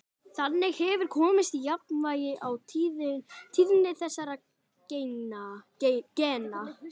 Þannig hefur komist á jafnvægi á tíðni þessara gena.